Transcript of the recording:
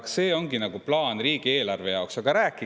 Kas see ongi plaan riigieelarve jaoks?